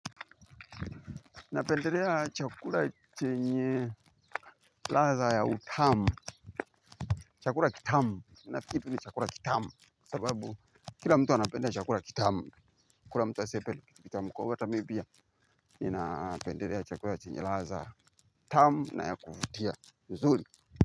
Napendelea chakula chenye ladha ya utamu. Chakura kitamu, na kitu ni chakura kitamu. Sababu kila mtu anapenda chakura kitamu. Kuna mtu asepele kitamu kwa ugata mibia ninapenderea chakura chenye laza ya utamu. Na ya kufutia huzuli.